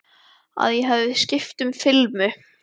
Að ég hafi skipt um filmu.